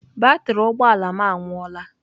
Batrị ụgbọ ala m anwụọla.